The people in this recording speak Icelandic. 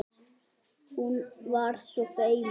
Hún var svo feimin.